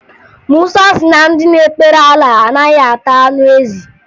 Musa si na ndị na-ekpere Alaa anaghị ata anụ ezi